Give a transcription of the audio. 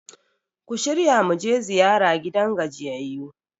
ku shirya mu je ziyara gidan gajiyayyu!